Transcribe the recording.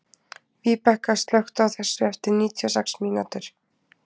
Víbekka, slökktu á þessu eftir níutíu og sex mínútur.